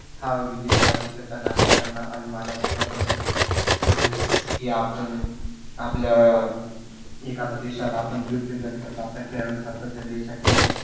हा विजेता देशाचा नागरिकांना अभिमानास्पद असतो. म्हणजे जस की आपण आपला अं एखाद्या देशाला आपण represent करतो आपल्या खेळाडूं देशाची